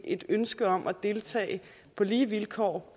et ønske om at deltage på lige vilkår